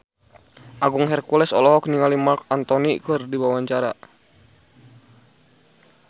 Agung Hercules olohok ningali Marc Anthony keur diwawancara